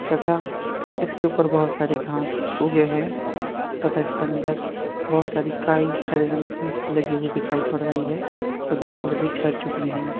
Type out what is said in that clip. तथा इसके ऊपर बहुत सारी घांस उगें है तथा इसके अंदर बहुत सारि काई हरे रंग की लगी हुई दिखाई पड़ रही है और दीवाल भी झड़ चुकी हैं।